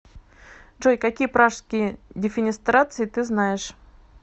джой какие пражские дефенестрации ты знаешь